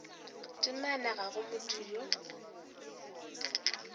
temana ga go motho yo